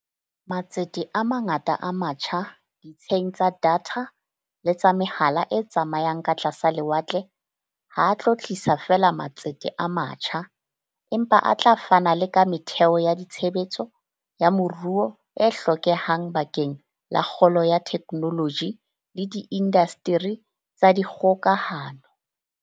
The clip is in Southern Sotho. Matsete a mangata a matjha ditsheng tsa datha le tsa mehala e tsamayang ka tlasa lewatle ha a tlo tlisa feela matsete a matjha, empa a tla fana le ka metheo ya tshebetso ya moruo e hlokehang bakeng la kgolo ya theknoloji le diindasteri tsa dikgokahano.